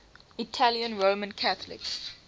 italian roman catholic